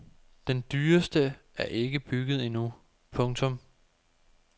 Den dyreste er ikke bygget endnu. punktum